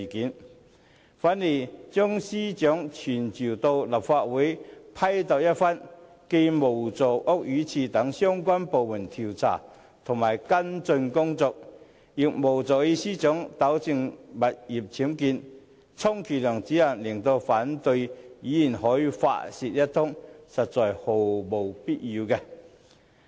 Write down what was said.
相反，將司長傳召到立法會批鬥一番，既無助屋宇署等相關部門的調查跟進工作，亦無助司長糾正物業僭建，充其量只能令反對派議員可以發泄一通，實在毫無必要。